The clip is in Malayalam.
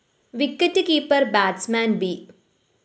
wicket keeper batsman‍ B